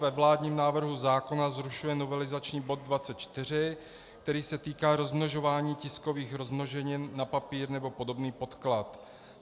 Ve vládním návrhu zákona zrušuje novelizační bod 24, který se týká rozmnožování tiskových rozmnoženin na papír nebo podobný podklad.